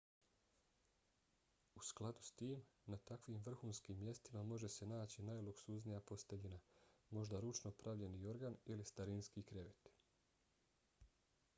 u skladu s tim na takvim vrhunskim mjestima može se naći najluksuznija posteljina možda ručno pravljeni jorgan ili starinski krevet